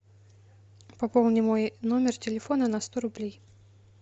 пополни мой номер телефона на сто рублей